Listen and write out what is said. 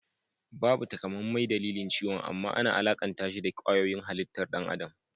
Babu takamaimai dalilin ciwon amman ana alakantashi da kwayoyin halittar ɗan adam